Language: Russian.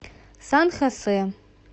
сан хосе